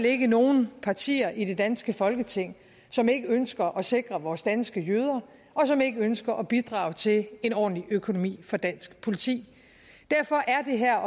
ikke nogen partier i det danske folketing som ikke ønsker at sikre vores danske jøder og som ikke ønsker at bidrage til en ordentlig økonomi for dansk politi derfor er det her